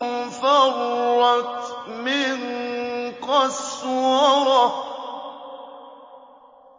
فَرَّتْ مِن قَسْوَرَةٍ